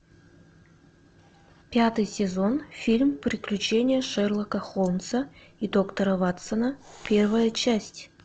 пятый сезон фильм приключения шерлока холмса и доктора ватсона первая часть